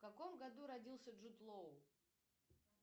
в каком году родился джуд лоу